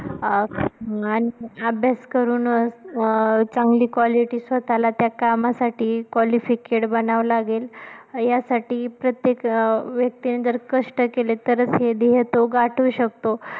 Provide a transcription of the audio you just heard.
अं अभ्यास करून अं चांगली quality स्वतःला त्या कामासाठी qualified बनावं लागेल यासाठी जर प्रत्येक व्यक्तीने जर कष्ट केले तरच हे ध्येय तो गाठू शकतो.